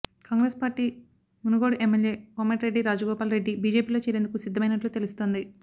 Congress party Munugode MLA Komatireddy Rajagopal Reddy బీజేపీలో చేరేందుకు సిద్ధమైనట్లు తెలుస్తోంది